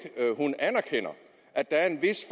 anerkender at der er en vis